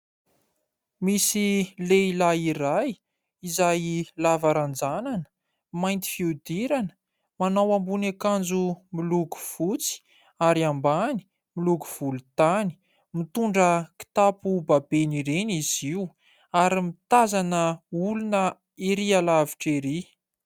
Misy lehilahy iray izay lava ranjanana, mainty fihodirana, manao ambony akanjo miloko fotsy ary ambany miloko volontany. Mitondra kitapo babena ireny izy io ary mitazana olona erỳ alavitra erỳ.